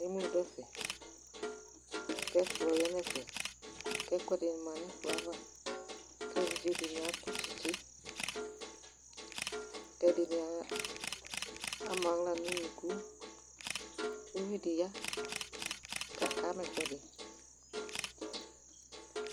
Emu dʋ ɛfɛ kʋ ɛkplɔ ya nʋ ɛfɛ, kʋ ɛkʋɛdɩ ma nʋ ɛkplɔ yɛ ava kʋ evidzenɩ atʋ tsɩtsɩ kʋ ɛdɩnɩ ama aɣla nʋ unuku Uvi dɩ ya kaka ma ɛkʋɛdɩ